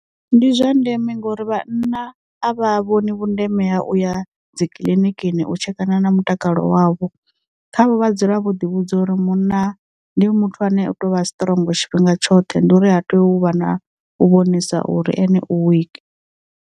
Ndi zwa ndeme ngori vhana a vha vhoni vhundeme ha uya dzi kiḽinikini u tshekana na mutakalo wavho, khavho vha dzule vho ḓi vhudza uri munna ndi muthu ane u to u vha strong tshifhinga tshoṱhe ndi uri ha tea u vha na u vhonisana uri ene u wiki.